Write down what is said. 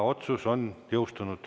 Otsus jõustus allakirjutamisel.